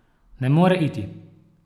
Ne more iti.